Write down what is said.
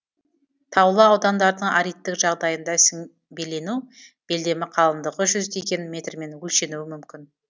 таулы аудандардың аридтік жағдайында сіңбелену белдемі қалыңдығы жүздеген метрмен өлшенуі мүмкін